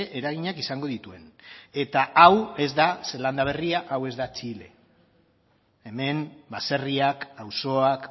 eraginak izango dituen eta hau ez da zeelanda berria hau ez da txile hemen baserriak auzoak